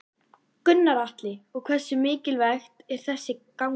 Gunnar Atli: Og hversu mikilvægt er þessi ganga?